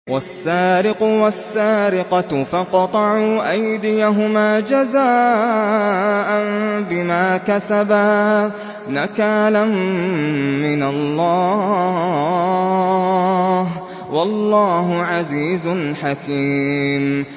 وَالسَّارِقُ وَالسَّارِقَةُ فَاقْطَعُوا أَيْدِيَهُمَا جَزَاءً بِمَا كَسَبَا نَكَالًا مِّنَ اللَّهِ ۗ وَاللَّهُ عَزِيزٌ حَكِيمٌ